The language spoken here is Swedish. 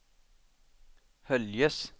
Höljes